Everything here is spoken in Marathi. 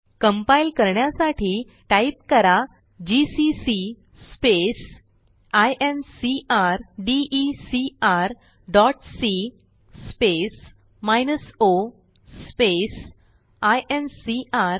कंपाइल करण्यासाठी टाईप करा जीसीसी incrdecrसी o आयएनसीआर